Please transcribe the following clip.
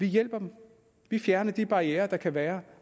hjælpe dem vi fjerner de barrierer der kan være